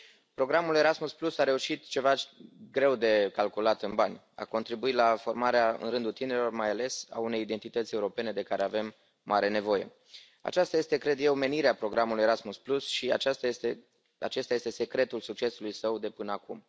Programul Erasmus a reușit ceva greu de calculat în bani a contribuit la formarea, în rândul tinerilor mai ales, a unei identități europene de care avem mare nevoie. Aceasta este, cred eu, menirea programului Erasmus și acesta este secretul succesului său de până acum.